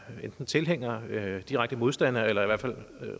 tilhængere direkte modstandere eller i hvert fald